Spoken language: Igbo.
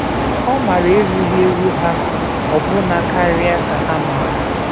Ọ maara erughị eru ha ọbụna karịa ka ha maara.